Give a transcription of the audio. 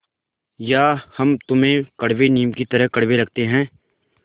या हम तुम्हें कड़वे नीम की तरह कड़वे लगते हैं